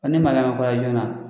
ne ma joona